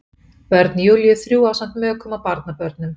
Börn Júlíu þrjú ásamt mökum og barnabörnum.